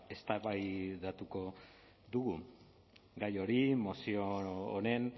eztabaidatuko dugu gai hori mozio honen